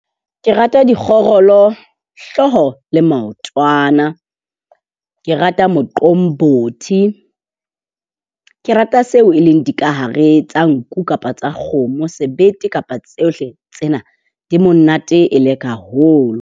Ke rata dikgorolo , hlooho le maotwana. Ke rata moqombothi. Ke rata seo e leng dikahare tsa nku kapa tsa kgomo. Sebete kapa tsohle tsena, di monate e le ka holo.